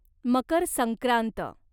Makar Sankrant